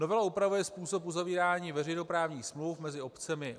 Novela upravuje způsob uzavírání veřejnoprávních smluv mezi obcemi.